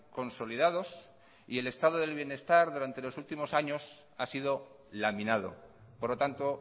consolidados y el estado de bienestar durante los últimos años ha sido laminado por lo tanto